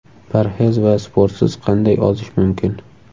Parhez va sportsiz qanday ozish mumkin?